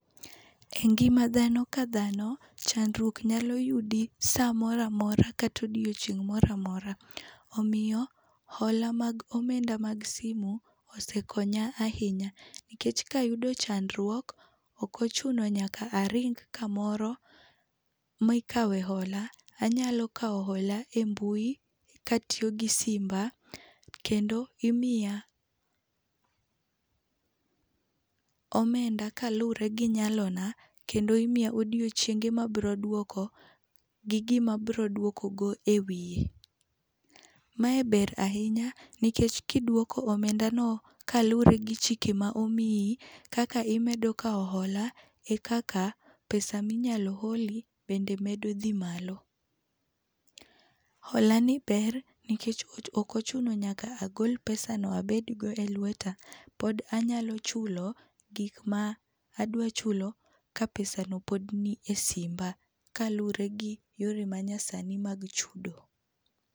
Engima dhano kadhano, chandruok nyalo yudi saa moro amora kata odiecheng' moro amora. Omiyo hola mag omenda mag simu osekonya ahinya, nikech kayudo chandruok ok ochuno nyaka aring kamoro mikawe hola. Anyalo kawo hola e mbui katiyo gi simba, kendo imiya [cs pause omenda kaluwore gi nyalona ,kendo imiya odiechienge ma abiro duoko gi gima abiro duokogo e wiye. Mae ber ahinya nikech kiduoko omendano kaluwore gi chike ma omiyi, kaka imedo kawo hola ekaka pesa minyalo holi bende medo dhi malo. Holani ber nikech ok ochuno nyaka agol pesano abedgo elueta, pod anyalo chulo gik ma adwaro chulo ka pesano pod ni esimba kaluwore gi yore manyasani mag chudo.